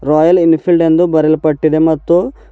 Royal Enfield ಎಂದು ಬರಿಯಲ್ಪಟ್ಟಿದೆ ಮತ್ತು.